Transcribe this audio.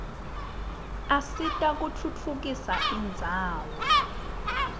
asita kutfutfukisa indzawo